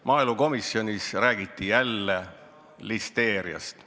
Maaelukomisjonis räägiti jälle listeeriast.